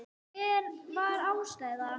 Hver var ástæðan?